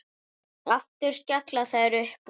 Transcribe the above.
Aftur skella þær upp úr.